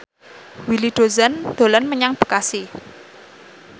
Willy Dozan dolan menyang Bekasi